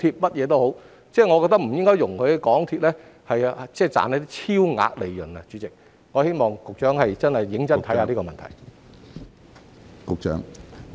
我認為不應該讓港鐵公司賺取超額利潤，希望局長可以認真考慮這個問題。